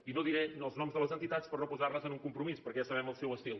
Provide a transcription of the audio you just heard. i no diré els noms de les entitats per no posar les en un compromís perquè ja sabem el seu estil